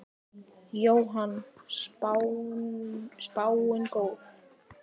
Jóhann: Spáin góð?